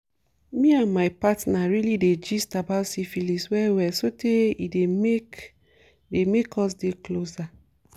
me and my partner really dey gist about syphilis well well sotey e dey dey make us dey closer